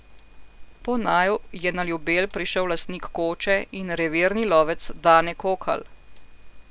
Po naju je na Ljubelj prišel lastnik koče in revirni lovec Dane Kokalj.